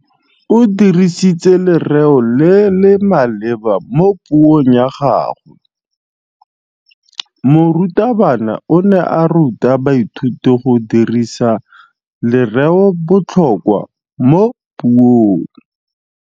O dirisitse lerêo le le maleba mo puông ya gagwe. Morutabana o ne a ruta baithuti go dirisa lêrêôbotlhôkwa mo puong.